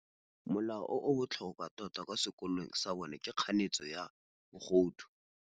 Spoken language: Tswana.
Molao o o botlhokwa tota kwa sekolong sa bone ke kganetsô ya bogodu.